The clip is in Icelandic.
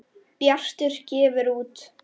Bjartur gefur út.